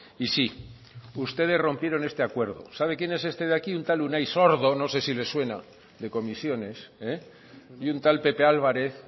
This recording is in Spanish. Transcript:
y sí ustedes rompieron este acuerdo sabe quién es ese de aquí un tal unai sordo no sé si les suena de comisiones y un tal pepe álvarez